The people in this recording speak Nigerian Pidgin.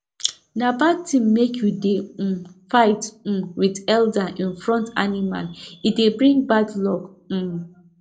na bad tin make you dey um figth um with elder in front animal e dey bring bad luck um